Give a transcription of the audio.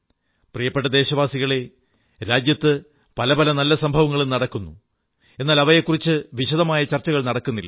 പ്രിയപ്പെട്ട ദേശവാസികളേ രാജ്യത്ത് പല പല നല്ല സംഭവങ്ങളും നടക്കുന്നു എന്നാൽ അവയെക്കുറിച്ച് വിശദമായ ചർച്ചകൾ നടക്കുന്നില്ല